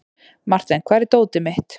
Marten, hvar er dótið mitt?